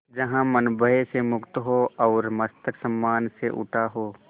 जहाँ मन भय से मुक्त हो और मस्तक सम्मान से उठा हो